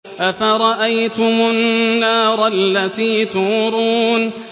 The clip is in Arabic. أَفَرَأَيْتُمُ النَّارَ الَّتِي تُورُونَ